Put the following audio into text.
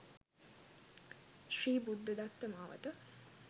ශ්‍රී බුද්ධදත්ත මාවත,